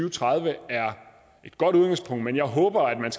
og tredive er et godt udgangspunkt men jeg håber at man